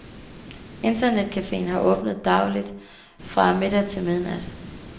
Internetcaféen har åbent dagligt fra middag til midnat.